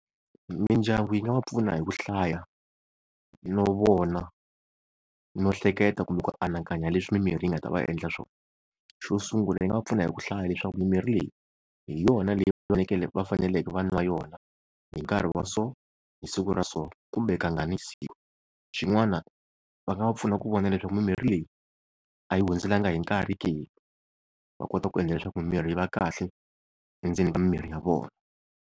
Mindyangu yi nga va pfuna hi ku hlaya, no vona, no hleketa kumbe ku anakanya leswi mimirhi yi nga ta va endla swona. Xo sungula yi nga va pfuna hi ku hlaya leswaku mimirhi leyi hi yona leyi va fanekele va faneleke va n'wa yona hi nkarhi wa so hi siku ra so kumbe kangani hi siku. Xin'wana va nga va pfuna ku vona leswaku mimirhi leyi a yi hundzeriwanga hi nkarhi ke, va kota ku endla leswaku mimirhi yi va kahle endzeni ka mimiri ya vona.